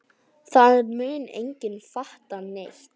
Það mun enginn fatta neitt.